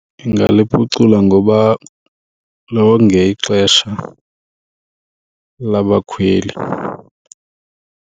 Ndingaliphucula ngoba longe ixesha labakhweli.